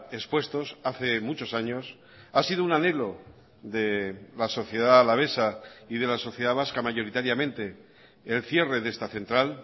expuestos hace muchos años ha sido un anhelo de la sociedad alavesa y de la sociedad vasca mayoritariamente el cierre de esta central